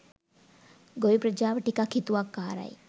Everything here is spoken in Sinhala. ගොවි ප්‍රජාව ටිකක් හිතුවක්කාරයි.